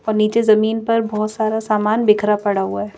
और नीचे जमीन पर बहोत सारा सामान बिखरा पड़ा हुआ--